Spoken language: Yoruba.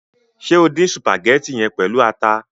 Ṣe o dín sùpàgétì yẹn pẹlu ata?